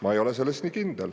Ma ei ole selles nii kindel.